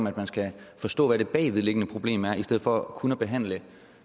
at man skal forstå hvad det bagvedliggende problem er i stedet for kun at behandle